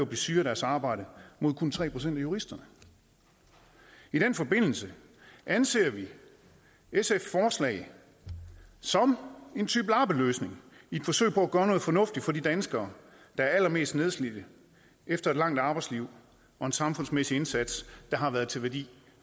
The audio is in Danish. blive syge af deres arbejde mod kun tre procent af juristerne i den forbindelse anser vi sfs forslag som en type lappeløsning i et forsøg på at gøre noget fornuftigt for de danskere der er allermest nedslidte efter et langt arbejdsliv og en samfundsmæssig indsats der har været til værdi